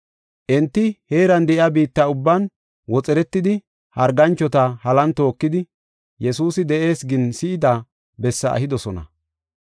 Enti heeran de7iya biitta ubban woxeretidi harganchota halan tookidi, “Yesuusi de7ees” gin si7ida bessaa ehidosona.